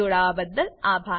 જોડાવાબદ્દલ આભાર